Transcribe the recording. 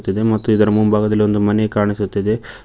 ಇದೆ ಮತ್ತು ಇದರ ಮುಂಭಾಗದಲ್ಲಿ ಒಂದು ಮನೆ ಕಾಣಿಸುತ್ತಿದೆ.